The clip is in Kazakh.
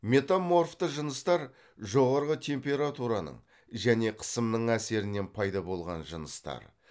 метаморфты жыныстар жоғарғы температураның және қысымның әсерінен пайда болған жыныстар